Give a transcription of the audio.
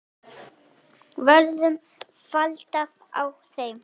Verður framhald á þeim?